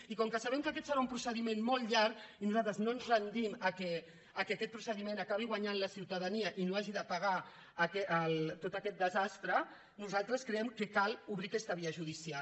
i com que sabem que aquest serà un procediment molt llarg i nosaltres no ens rendim al fet que en aquest procediment acabi guanyant la ciutadania i no hagi de pagar tot aquest desastre nosaltres creiem que cal obrir aquesta via judicial